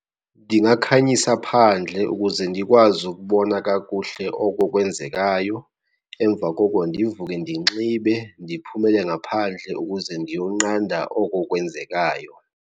Ndingakhanyisa phandle ukuze ndikwazi ukubona kakuhle oko kwenzekayo, emva koko ndivuke ndinxibe ndiphumele ngaphandle ukuze ndiyonqanda oko kwenzekayo.